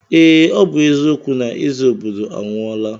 Ee, ọ bụ eziokwu na eze obodo anwụọla.